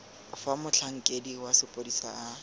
fa motlhankedi wa sepodisi a